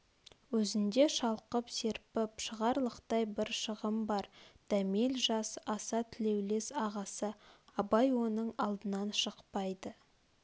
өзінде шалқып серпіп шығарлықтай бір шығым бар дәмел жас аса тілеулес ағасы абай оның алдынан шықпайды